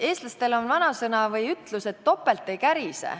Eestlastel on ütlus, et topelt ei kärise.